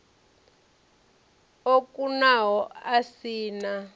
o kunaho a si na